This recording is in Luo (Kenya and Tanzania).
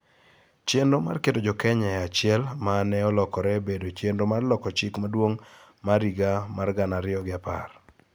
chenro mar keto Jo-Kenya e achiel ma ne olokore obedo chenro mar loko Chik Maduong' mar higa mar gana ariyo gi apar